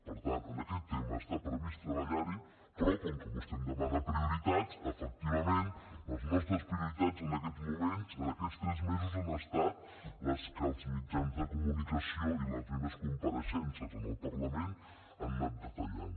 per tant en aquest tema està previst treballar hi però com que vostè em demana prioritats efectivament les nostres prioritats en aquests moments en aquests tres mesos han estat les que els mitjans de comunicació i les meves compareixences en el parlament han anat detallant